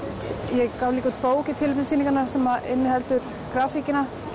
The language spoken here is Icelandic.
ég gaf líka út bók í tilefni sýningarinnar sem inniheldur grafíkina